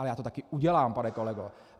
Ale já to taky udělám, pane kolego.